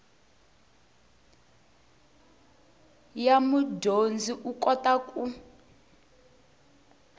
ya mudyondzi u kota ku